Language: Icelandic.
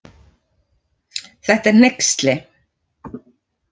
Þetta er hneyksli